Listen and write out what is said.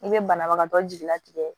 I be banabagatɔ jigilatigɛ